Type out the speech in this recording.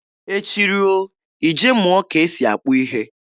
Echi ruo, ị je mụọ ka e si akpụ ihe.